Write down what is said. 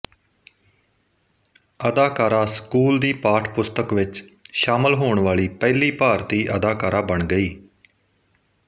ਅਦਾਕਾਰਾ ਸਕੂਲ ਦੀ ਪਾਠਪੁਸਤਕ ਵਿਚ ਸ਼ਾਮਲ ਹੋਣ ਵਾਲੀ ਪਹਿਲੀ ਭਾਰਤੀ ਅਦਾਕਾਰਾ ਬਣ ਗਈ